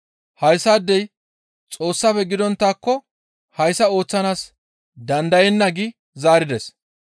Hayssaadey Xoossafe gidonttaakko hayssa ooththanaas dandayenna» gi zaarides.